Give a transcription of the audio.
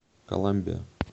коламбия